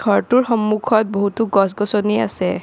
ঘৰটোৰ সন্মুখত বহুতো গছ-গছনি আছে।